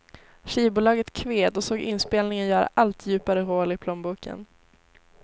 Skivbolaget kved och såg inspelningen göra allt djupare hål i plånboken.